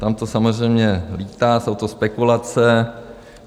Tam to samozřejmě lítá, jsou to spekulace.